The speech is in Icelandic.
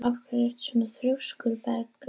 Af hverju ertu svona þrjóskur, Bergjón?